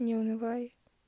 не унывай